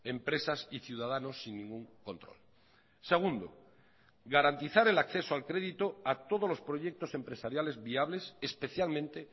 empresas y ciudadanos sin ningún control segundo garantizar el acceso al crédito a todos los proyectos empresariales viables especialmente